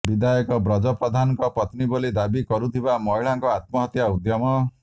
ବିଧାୟକ ବ୍ରଜ ପ୍ରଧାନଙ୍କ ପତ୍ନୀ ବୋଲି ଦାବି କରୁଥିବା ମହିଳାଙ୍କ ଆତ୍ମହତ୍ୟା ଉଦ୍ୟମ